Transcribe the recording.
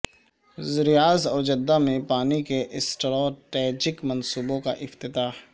ریاض اور جدہ میں پانی کے اسٹراٹیجک منصوبوں کا افتتاح